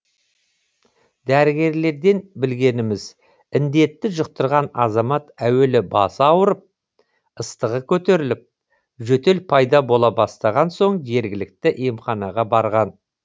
дәрігерлерден білгеніміз індетті жұқтырған азамат әуелі басы ауырып ыстығы көтеріліп жөтел пайда бола бастаған соң жергілікті емханаға барған